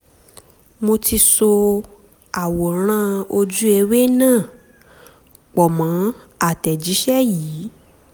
um mo ti so àwòrán ojú-ewé náà pọ̀ mọ́ àtẹ̀jíṣẹ́ yìí